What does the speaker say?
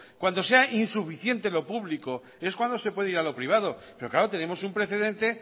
cuando sea insuficiente lo público es cuando se puede ir a lo privado pero claro tenemos un precedente